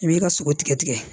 I b'i ka sogo tigɛ tigɛ